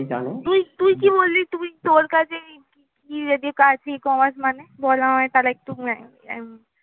তুই তুই কি বললি? তোর কাছে কি ecommerce মানে? বল আমায় তাহলে একটু